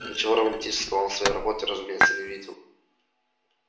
ничего романтического она в своей работе разумеется не видела